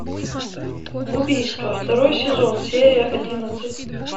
убийство второй сезон серия одиннадцать